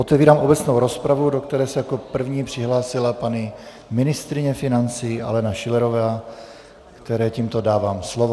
Otevírám obecnou rozpravu, do které se jako první přihlásila paní ministryně financí Alena Schillerová, které tímto dávám slovo.